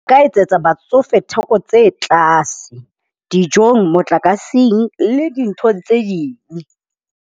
Nka etsetsa batsofe theko tse tlase dijong, motlakaseng le dintho tse ding.